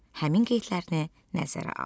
Həmin qeydlərini nəzərə al.